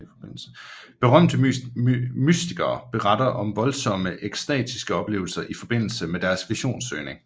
Berømte mystikere beretter om voldsomme ekstatiske oplevelser i forbindelse med deres visionssøgning